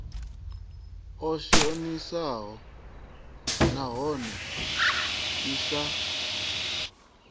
i shonisaho nahone i sa